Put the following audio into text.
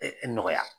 nɔgɔya